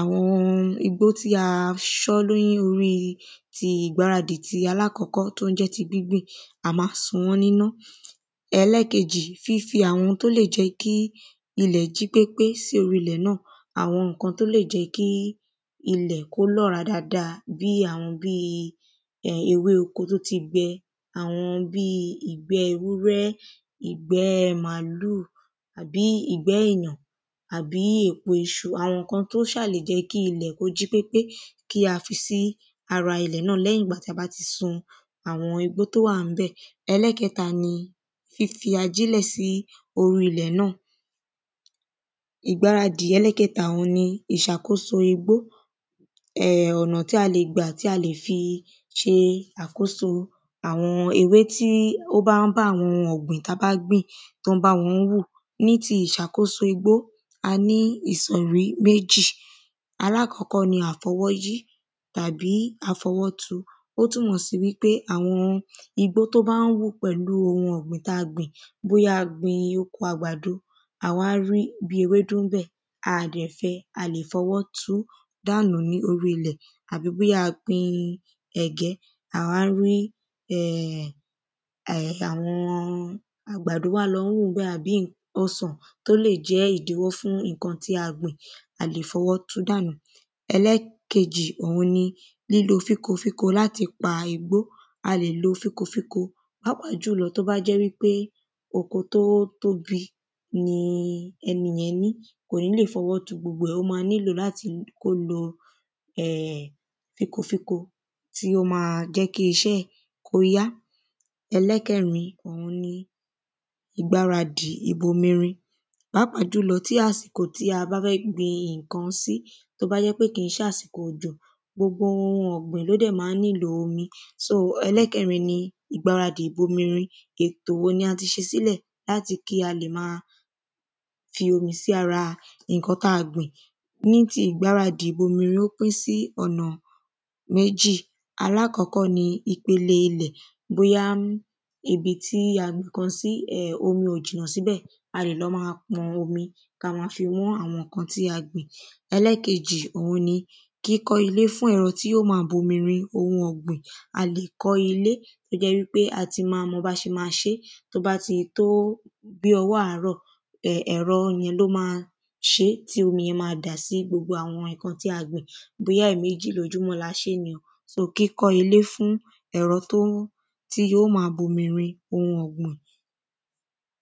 àwọn igbó tí a ṣán lórí ti ìgbáradì aláàkọ́kọ́ tó jẹ́ ti gbíngbìn a má sun wọ́n níná Ẹlẹ́ẹ̀kejì fífi àwọn tí ó lè jẹ́ kí ilẹ̀ jí pépé sí orí ilẹ̀ náà àwọn nǹkan tó lè jẹ́ kí ilẹ̀ kó lọ́ràá dáada àwọn nǹkan bí um ewé oko tó ti gbẹ àwọn bí ìgbẹ́ ewúrẹ́ ìgbẹ́ màálù àbí ìgbẹ́ èyàn àbí èpo iṣu àwọn nǹkan tó ṣà lè jẹ́ kí ilẹ̀ kó jí pépé kí a fi sí ara ilẹ̀ náà lẹ́yìn ìgbà tí a bá ti sun igbó tí ó wà ńbẹ̀ ẹlẹ́ẹ̀kẹta ni fífi ajílẹ̀ sí orí ilẹ̀ náà ìgbáradì ẹlẹ́ẹ̀kẹta òhun ni ìṣàkóso igbó um ọ̀nà tí a lè gbà tí a lè fi ṣe ìṣàkóso àwọn ewé tí ó bá ń bá àwọn ọ̀gbìn tá bá gbìn tó ń bá wọn hù ní ti ìṣàkóso igbó a ní ìṣọ̀rí méjì alákọ́kọ́ ni àfọwọ́ yí àbí àfọwọ́ tu ó túnmọ̀ sí wípé àwọn igbó tó bá ń hù pẹ̀lú ohun ọ̀gbìn tá gbìn bóyá a gbin oko àgbàdo a wá rí bí ewédú ńbẹ̀ a dẹ̀ fẹ́ a lè fọwọ́ tú dànù ní orí ilẹ̀ tàbí bóyá a gbin ẹ̀gẹ́ a wá ń rí um àwọn àgbàdo wá ń lọ hù ńbẹ̀ àbí ọsàn tó lè jẹ́ ìdíwọ́ fún nǹkan tí a gbìn a lè fọwọ́ tú dànù ẹlẹ́ẹ̀kejì òhun ni lílo fínko fínko láti pa igbó a lè lo fínko fínko pàápàá jùlọ tó bá jẹ́ oko tó tóbi ni ẹni yẹn ní kò ní lè fọwọ́ tu gbogbo ẹ̀ ó má nílò kó lo um fínko fínko tí ó má jẹ́ kí iṣẹ́ ẹ̀ kó yá ẹlẹ́ẹ̀kẹrin òhun ni ìgbáradì ìbomi rin pàápàá jùlọ tí àsìkò tí a bá fẹ́ gbin nǹkan sí tó bá jẹ́ pé kìí ṣàsìkò òjò gbogbo nǹkan ọ̀gbìn ló dẹ̀ má ń nílò omi so ẹlẹ́ẹ̀kerin ni ìgbáradì ìbomi rin ètò wo ni a ti ṣe sílẹ̀ láti kí a lè má fi omi sára nǹkan tá gbìn ní ti ìgbáradì ìbomi rin ó pín sí ọ̀nà méjì aláàkọ́kọ́ ni ipele ilẹ̀ bóyá ibi tí a gbin nǹkan sí omi ò jìnà síbẹ̀ a lè lọ má pọn omi ká má fi wọ́n àwọn nǹkan tí a gbìn. Ẹlẹ́ẹ̀kejì kíkọ́ ilé fún ẹ̀rọ tí yó má bu omi rin ohun ọ̀gbìn a lè kọ́ ilé tó jẹ́ pé a ti má mọ bá ṣe má ṣé tó bá ti tó bí ọwọ́ àárọ̀ ẹ̀rọ yẹn ló má ṣé tí omi yẹn má dà sí gbogbo nǹkan tí a gbìn bóyá ẹ̀mejì lójúmọ́ ni o ètò kíkọ́ ilé fún ẹ̀rọ tó ń tí yóò má bomi rin ohun ọ̀gbìn.